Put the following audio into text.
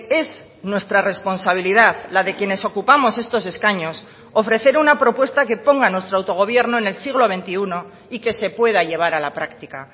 es nuestra responsabilidad la de quienes ocupamos estos escaños ofrecer una propuesta que ponga a nuestro autogobierno en el siglo veintiuno y que se pueda llevar a la práctica